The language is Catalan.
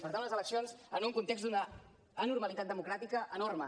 per tant unes eleccions en un context d’una anormalitat democràtica enorme